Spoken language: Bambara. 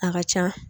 A ka ca